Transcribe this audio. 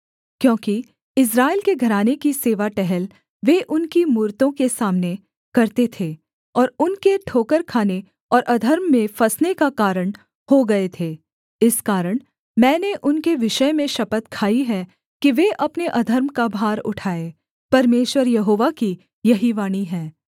क्योंकि इस्राएल के घराने की सेवा टहल वे उनकी मूरतों के सामने करते थे और उनके ठोकर खाने और अधर्म में फँसने का कारण हो गए थे इस कारण मैंने उनके विषय में शपथ खाई है कि वे अपने अधर्म का भार उठाए परमेश्वर यहोवा की यही वाणी है